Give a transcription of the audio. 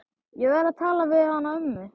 Ég verð að tala við hana ömmu.